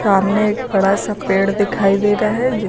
सामने एक बड़ा सा पेड़ दिखाई दे रहा है जिस--